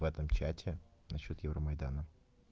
в этом чате на счёт евромайдана